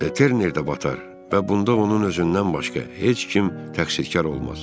Terner də batar və bunda onun özündən başqa heç kim təqsirkar olmaz.